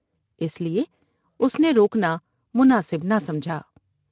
اس لیے اس نے روکنا مناسب نہ سمجھا ۔